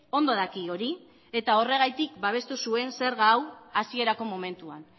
ondo daki hori eta horregatik babestu zuen zerga hau hasierako momentuan